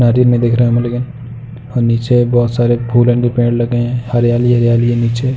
और नीचे बहोत सारे फूलन के पेड़ लगे हैं। हरियाली ही हरियाली है नीचे।